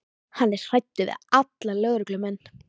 Hann er hræddur við alla lögreglumenn.